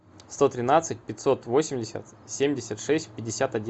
сто тринадцать пятьсот восемьдесят семьдесят шесть пятьдесят один